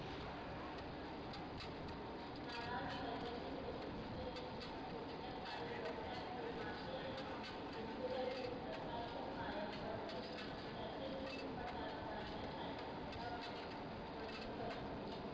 नाराज हैदरने प्रतीक्रिया दिली की येत्या काही वर्षात निर्माते आणि दिग्दर्शक लताच्या पाया पडतील. आणि त्याच्या चित्रपटात गाण्यासाठी तीला वनी करतील.